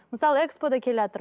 мысалы экспо да